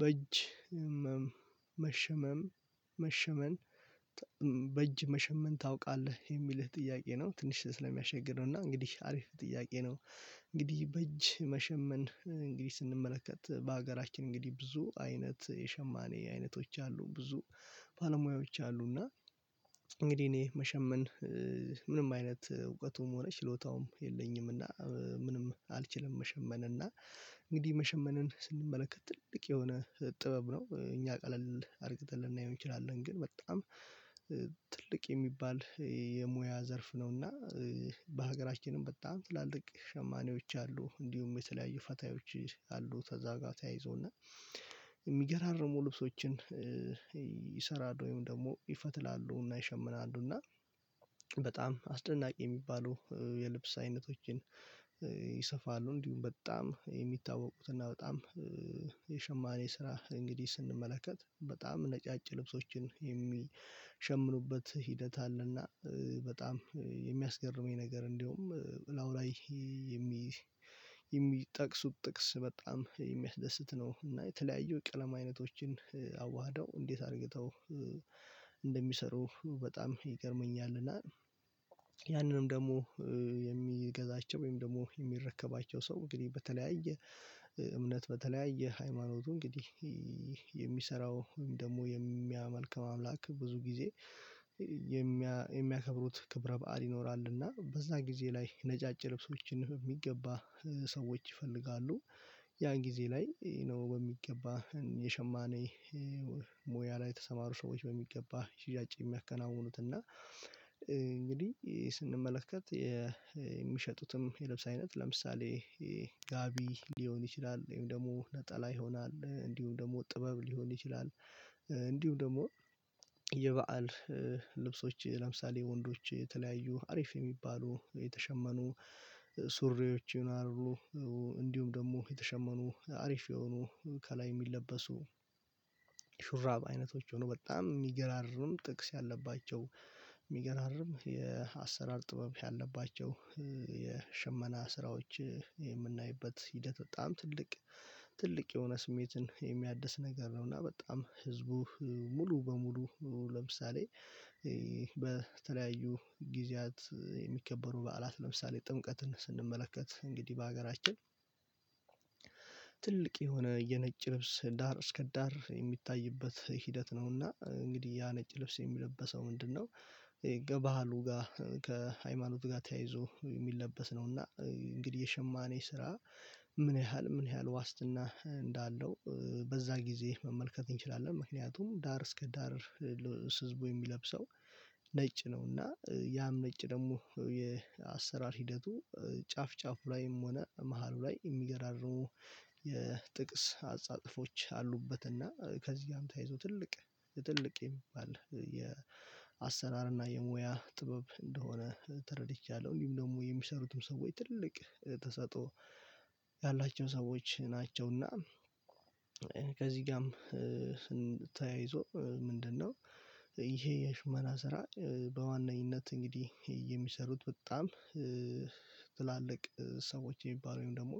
በእጅ መሸመም መሸመን በእጅ መሸመን ታውቃለህ የሚልህ ጥያቄ ነው። ትንሽ ስለሚያሻግር ነው እና እንግዲህ አሪፍ ጥያቄ ነው። እንግዲህ በእጅ መሸመን እንግዲህ ስንመለከት በሀገራችን እንግዲህ ብዙ አይነት የሸማኔ አይነቶች አሉ ብዙ ባለሙያዎች አሉ። እና እንግዲህ እኔ መሸመን ምንም አይነት እውቀቱም ሆነ ችሎታውም የለኝም። እና ምንም አልችልም። መሸመን እና እንግዲህ መሸመንን ስንመለከት ትልቅ የሆነ ጥበብ ነው። እኛ ቀለል አርግተን ልናየው እንችላለን ግን በጣም። እንግዲህ እኔ መሸመን ምንም አይነት እውቀቱም ሆነ ችሎታውም የለኝም። እና ምንም አልችልም። መሸመን እና በጣም አስደናቂ የሚባሉ የልብስ አይነቶችን ይሰፋሉ እንዲሁም በጣም የሚታወቁትና በጣም የሸማኔ ስራ እንግዲህ ስንመለከት በጣም ነጫጭ ልብሶችን የሚሸምኑበት ሂደት አለና በጣም የሚያስገርመኝ ነገር እንደውም ላውራይ። የሚ የሚጠቅሱት ጥቅስ በጣም የሚያስደስት ነው። እና የተለያዩ ቀለማ አይነቶችን አዋህደው እንዴት አርግተው እንደሚሰሩ በጣም ይገርመኛልና። ያንንም ደግሞ የሚገዛቸው ወይም ደግሞ የሚረከባቸው ሰው እንግዲህ በተለያየ እምነት በተለያየ የሃይማኖቱ እንግዲህ የሚሰራው ወይም ደግሞ የሚያመልከው አምላክ ብዙ ጊዜ የሚያከብሩት ክብረ በዓል ይኖራል። እና በዛ ጊዜ ላይ ነጫጭ ልብሶችን በሚገባ ሰዎች ይፈልጋሉ። ያን ጊዜ ላይ ነው በሚገባ የሸማኔ ሞያ ላይ የተሰማሩ ሰዎች በሚገባ ሽያጭ የሚያከናውኑት። እና እንግዲህ ስንመለከት የሚሸጡትም የልብስ አይነት ለምሳሌ ጋቢ ሊሆን ይችላል ወይም ደግሞ ነጠላ ይሆናል እንዲሁም ደግሞ ጥበብ ሊሆን ይችላል። እንዲሁም ደግሞ የበአል ልብሶች ለምሳሌ ወንዶች የተለያዩ አሪፍ የሚባሉ የተሸመኑ ሱሪዎች ይኖራሉሉ። እንዲሁም ደግሞ የተሸመኑ አሪፍ የሆኑ ከላይ የሚለበሱ ሹራብ አይነቶች ሆኖ በጣም የሚገራርም ጥቅስ ያለባቸው የሚገራርም የአሰራር ጥበብ ያለባቸው የሸመና ስራዎች የምናይበት ሂደት በጣም ትልቅ ትልቅ የሆነ ስሜትን የሚያድስ ነገር ነው። እና በጣም ህዝቡ ሙሉ በሙሉ ለምሳሌ በተለያዩ ጊዜያት የሚከበሩ በዓላት ለምሳሌ ጥምቀትን ስንመለከት እንግዲህ በሀገራችን ትልቅ የሆነ የነጭ ልብስ ዳር እስከ ዳር የሚታይበት ሂደት ነውና እንግዲህ ያ ነጭ ልብስ የሚለበሰው ምንድነው? ከባህሉ ጋር ከሃይማኖት ጋር ተያይዞ የሚለበስ ነውና። እንግዲህ የሸማኔ ስራ ምን ያህል ምን ያህል ዋስትና እንዳለው በዛ ጊዜ መመልከት እንችላለን። ምክንያቱም ዳር እስከ ዳር ህዝቡ የሚለብሰው ነጭ ነው። እና ያም ነጭ ደግሞ የአሰራር ሂደቱ ጫፍ ጫፉ ላይም ሆነ መሃሉ ላይ የሚገራርሙ የጥቅስ አጻጥፎች አሉበት። እና ከዚህ ጋርም ተይዞ ትልቅ ትልቅ የሚባል የአሰራር እና የሙያ ጥበብ እንደሆነ ተረድቻለሁ። እንዲሁም ደግሞ የሚሰሩትም ሰዎች ትልቅ ተሰጦ ያላቸው ሰዎች ናቸውና። ከዚህ ጋርም ተያይዞ ምንድነው? ይሄ የሽመና ስራ በዋናኝነት እንግዲህ የሚሰሩት በጣም ትላልቅ ሰዎች የሚባሉ ወይም ደግሞ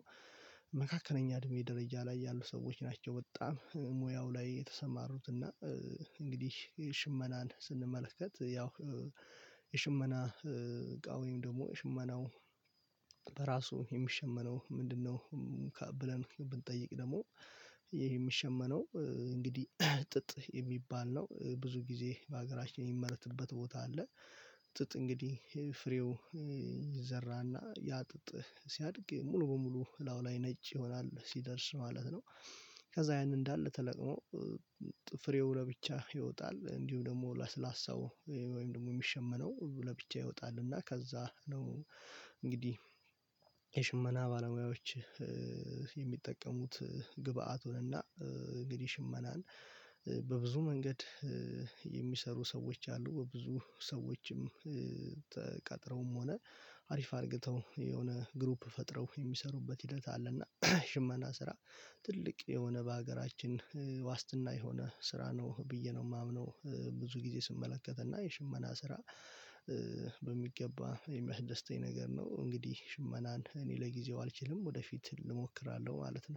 መካከለኛ እድሜ ደረጃ ላይ ያሉ ሰዎች ናቸው። በጣም ሙያው ላይ የተሰማሩት። እና እንግዲህ ሽመናን ስንመለከት ያው የሽመና እቃ ወይም ደግሞ ሽመናው በራሱ የሚሸመነው ምንድነው? ብለን ብንጠይቅ ደግሞ ይሄ የሚሸመነው እንግዲህ ጥጥ የሚባል ነው። ብዙ ጊዜ በሀገራችን የሚመረትበት ቦታ አለ። ጥጥ እንግዲህ ፍሬው ይዘራና ያ ጥጥ ሲያድግ ሙሉ በሙሉ ላው ላይ ነጭ ይሆናል ሲደርስ ማለት ነው። ከዛ ያን እንዳለ ተለቅሞ ፍሬው ለብቻ ይወጣል እንዲሁ ደግሞ ላስላሳው ወይም ደግሞ የሚሸመነው ለብቻ ይወጣል እና ከዛ ነው። እንግዲህ የሽመና ባለሙያዎች የሚጠቀሙት ግብአቱ እና እንግዲህ ሽመናን በብዙ መንገድ የሚሰሩ ሰዎች አሉ። በብዙ ሰዎችም ተቀጥረውም ሆነ አሪፍ አድርገው የሆነ ግሩፕ ፈጥረው የሚሰሩበት ሂደት አለና። ሽመና ስራ ትልቅ የሆነ በሀገራችን ዋስትና የሆነ ስራ ነው ብዬ ነው የማምነው። ብዙ ጊዜ ስመለከት እና የሽመና ስራ በሚገባ የሚያስደስተኝ ነገር ነው። እንግዲህ ሽመናን እኔ ለጊዜው አልችልም ወደፊት እሞክራለሁ ማለት ነው